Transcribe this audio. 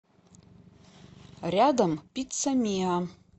рядом пицца миа